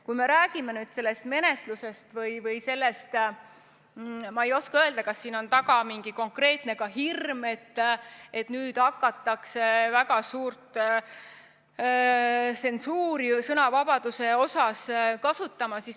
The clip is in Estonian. Kui me räägime nüüd sellest menetlusest, siis ma ei oska öelda, kas siin on taga ka mingi konkreetne hirm, et nüüd hakatakse väga suurt tsensuuri sõnavabaduse suhtes kasutama.